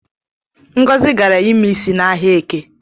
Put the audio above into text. Ngozi gara ime ịsị n’Ahia Eke